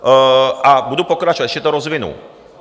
A budu pokračovat, ještě to rozvinu.